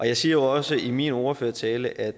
jeg siger jo også i min ordførertale at